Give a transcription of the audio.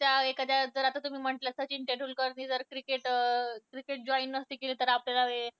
त्या एखाद्या जर तुम्ही म्हंटल्या सचिन तेंडुलकरनी जर cricket joined नसती केली तर आपल्याला एवढी